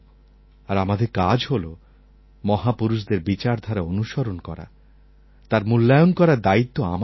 আর আমাদের কাজ হল মহাপুরুষদের বিচারধারা অনুসরণ করা তার মূল্যায়ন করার দায়িত্ব আমাদের নয়